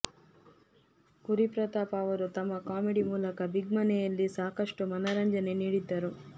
ಕುರಿ ಪ್ರತಾಪ್ ಅವರು ತಮ್ಮ ಕಾಮಿಡಿ ಮೂಲಕ ಬಿಗ್ ಮನೆಯಲ್ಲಿ ಸಾಕಷ್ಟು ಮನರಂಜನೆ ನೀಡಿದ್ದರು